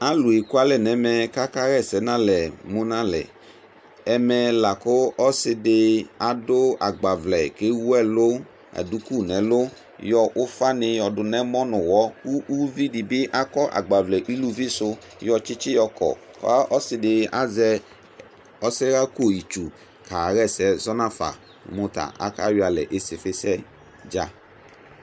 Alu ekʊalɛ nɛvɛ kaka wa ɛsɛnalɛ munalɛ ɛfɛla ku ɔsidɩ agbavlɛ ku ewu ɛlu uvidi bi akɔ agbavlɛ uluvisu akɔ tsitsɩ ɔsɩdi bi azɛ ɔsɛɣa ko ayitsu kaɣa ɛsɛ zɔnafa mutɛ akayɔ alɛ nu osɩfisɛdza